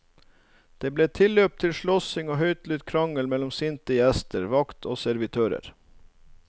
Det ble tilløp til både slåssing og høylytt krangling mellom sinte gjester, vakt og servitører.